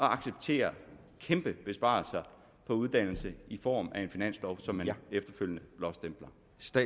acceptere kæmpe besparelser på uddannelse i form af en finanslov som man efterfølgende blåstempler